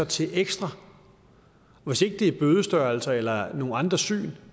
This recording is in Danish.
til ekstra hvis ikke det er bødestørrelser eller nogle andre syn